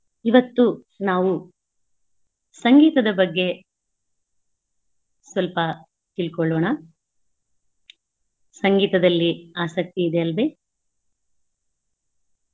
ಇವತ್ತು ನಾವು ಸಂಗೀತದ ಬಗ್ಗೆ ಸ್ವಲ್ಪ ತಿಳ್ಕೊಳ್ಳೋಣ. ಸಂಗೀತದಲ್ಲಿ ಆಸಕ್ತಿ ಇದೆ ಅಲ್ವೇ?